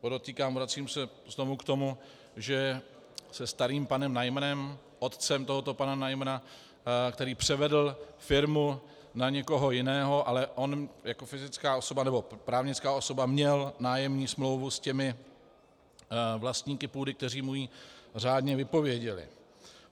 Podotýkám, vracím se znovu k tomu, že se starým panem Najmrem, otcem tohoto pana Najmra, který převedl firmu na někoho jiného, ale on jako právnická osoba měl nájemní smlouvu s těmi vlastníky půdy, kteří mu ji řádně vypověděli.